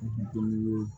Dumuni